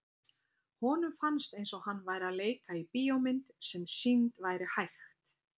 Honum fannst eins og hann væri að leika í bíómynd sem sýnd væri hægt.